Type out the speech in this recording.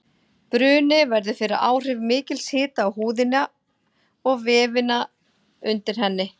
Bruni verður fyrir áhrif mikils hita á húðina og vefina undir henni.